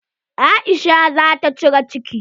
Aisha zata cire ciki.